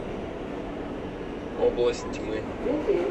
область тьмы